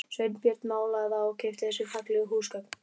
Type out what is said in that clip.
Sveinbjörn málaði það og keypti þessi fallegu húsgögn